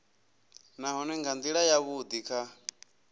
nahone nga ndila yavhudi kha